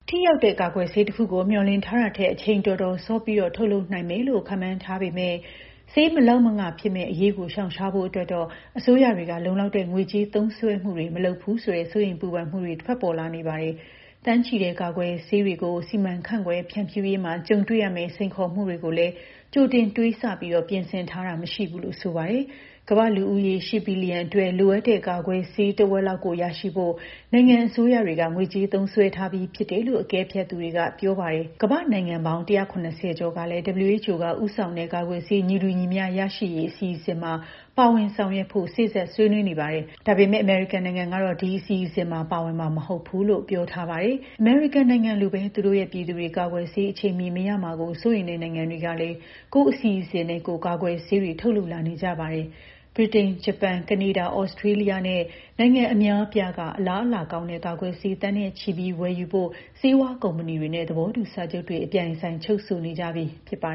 ထိရောက်တဲ့ ကာကွယ်ဆေးတခုကို မျှော်လင့်ထားတာထက် အချိန် တော်တော်စောပြီး ထုတ်လုပ်နိုင်လိမ့်မဲ့ ကာကွယ်ထိုးဆေး မလောက်မငှ ဖြစ်မယ့်အရေးကို ရှောင်ရှားနိုင်ဖို့အတွက်တော့ အစိုးရတွေက လုံလောက်တဲ့ ငွေကြေး သုံးစွဲမှုတွေ မလုပ်ဘူးဆိုတဲ့ စိုးရိမ်ပူပန်မှုတွေထွက်ပေါ်လာနေပါတယ်။ သန်းချီတဲ့ ကာကွယ်တွေကို စီမံခန့်ခွဲ ဖြန့်ဖြူးရေးမှာ ကြုံတွေ့ရမယ့် စိန်ခေါ်မှုတွေကိုလည်း ကြိုတင် တွေးဆပြီး ပြင်ဆင်ထားတာ မရှိဘူးလို့ ဆိုပါတယ်။ ကမ္ဘာ့လူဦးရေ ၈ ဘီလီယံအတွက် လိုအပ်တဲ့ ကာကွယ်ဆေး ထက်ဝက် ရရှိဖို့ နိုင်ငံ အစိုးရတွေက ငွေကြေး သုံးစွဲထားပြီး ဖြစ်တယ်လို့ အကဲဖြတ်သူတွေက ပြောပါတယ်။ ကမ္ဘာ့နိုင်ငံပေါင်း ၁၇၀ ကျော်ကလည်း WHO က ဦးဆောင်တဲ့ ကာကွယ်ဆေး ညီတူညီမျှ ရရှိရေး အစီအစဉ်မှာ ပါဝင် ဆောင်ရွက်ဖို့ စေ့စပ် ဆွေးနွေးနေပါတယ်။ ဒါပေမဲ့ အမေရိကန်နိုင်ငံကတော့ ဒီအစီအစဉ်မှာ ပါဝင်မှာ မဟုတ်ဘူးလို့ ပြောထားပါတယ်။ အမေရိကန်နိုင်ငံလိုပဲ သူတို့ရဲ့ ပြည်သူတွေ ကာကွယ်ဆေး အချိန်မီမရမှာကို စိုးရိမ်တဲ့ နိုင်ငံတွေကလည်း ကိုယ့်အစီအစဉ်နဲ့ကိုယ် ကာကွယ်ဆေးတွေ ထုတ်လုပ်လာနေကြပါတယ်။ ဗြိတိန်၊ ဂျပန်၊ ကနေဒါ၊ ဩစတြေးလျနဲ့ နိုင်ငံအများအပြားက အလားအလာကောင်းတဲ့ ကာကွယ်ဆေး သန်းနဲ့ချီပြီးဝယ်ယူဖို့ ဆေးဝါးကုမ္ပဏီတွေနဲ့ သဘောတူ စာချုပ်တွေ အပြိုင်အဆိုင် ချုပ်ဆိုနေကြပြီ ဖြစ်ပါ